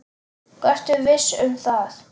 Vertu viss um það.